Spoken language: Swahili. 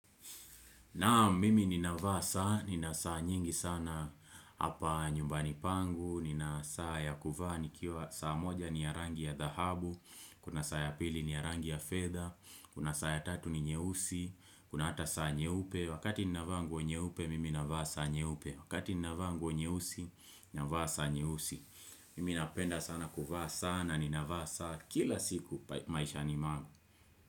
Naam mimi ninavaa saa, nina saa nyingi sana hapa nyumbani pangu, nina saa ya kuvaa nikiwa saa moja ni ya rangi ya dhahabu, kuna saa ya pili ni ya rangi ya fedha kuna saa ya tatu ni nyeusi, kuna hata saa nyeupe, wakati ninavaa nguo nyeupe mimi ninavaa saa nyeupe, wakati ninavaa nguo nyeusi, ninavaa saa nyeusi. Mimi napenda sana kuvaa sana, ninavaa saa kila siku maisha ni mwangu.